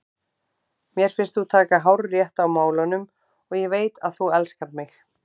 Mér finnst þú taka hárrétt á málunum og ég veit að þú elskar mig.